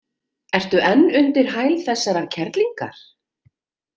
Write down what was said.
Ertu enn undir hæl þessarar kerlingar?